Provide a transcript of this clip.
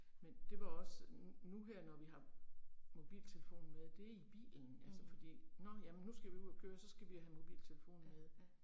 Men det var også nu her når vi har mobiltelefonen med det er i bilen altså fordi, nåh ja men nu skal vi ud og køre jamen så skal vi have mobiltelefonen med